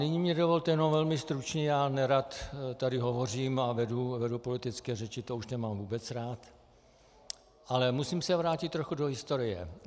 Nyní mi dovolte jenom velmi stručně, já nerad tady hovořím a vedu politické řeči, to už nemám vůbec rád, ale musím se vrátit trochu do historie.